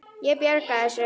Ég bjarga þessu.